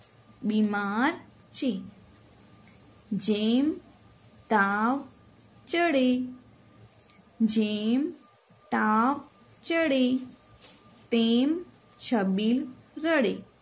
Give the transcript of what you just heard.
બીમાર છે જેમ તાવ ચડે જેમ તાવ ચડે તેમ છબીલ રડે